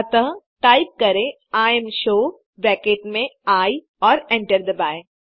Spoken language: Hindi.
अतः टाइप करें इमशो ब्रैकेट में आई और एंटर दबाएँ